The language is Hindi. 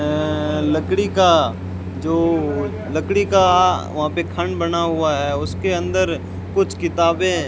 लकड़ी का जो लकड़ी का वहां पर खंड बना हुआ है उसके अंदर कुछ किताबें --